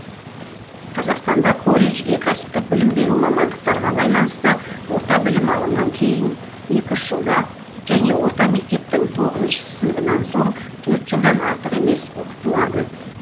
қазақстанда колледжде кәсіптік білім беру мамандықтарға байланысты орта білім алынған кейін екі үш жылда және орта мектептің тоғызыншы сыныбынан соң төрт жылдан артық емес оқытылады